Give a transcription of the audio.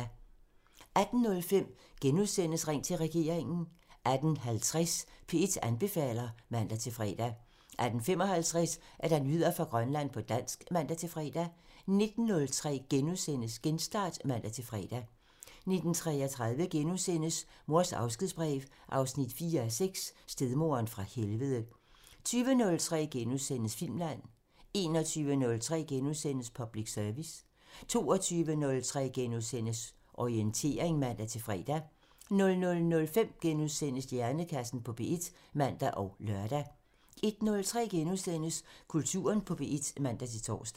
18:05: Ring til regeringen *(man) 18:50: P1 anbefaler (man-fre) 18:55: Nyheder fra Grønland på dansk (man-fre) 19:03: Genstart *(man-fre) 19:33: Mors afskedsbrev 4:6 – Stedmoderen fra helvede * 20:03: Filmland *(man) 21:03: Public Service *(man) 22:03: Orientering *(man-fre) 00:05: Hjernekassen på P1 *(man og lør) 01:03: Kulturen på P1 *(man-tor)